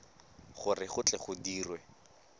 gore go tle go dirwe